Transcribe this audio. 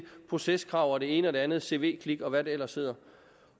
proceskrav og det ene og det andet cv klik og hvad det ellers hedder